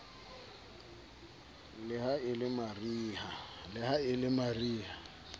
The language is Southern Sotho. le ha e le mariha